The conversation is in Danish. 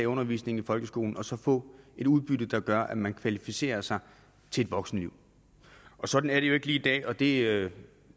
undervisningen i folkeskolen og så få et udbytte der gør at man kvalificerer sig til voksenlivet og sådan er det jo ikke lige i dag og det